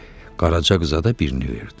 Qaraca qıza da birini verdi.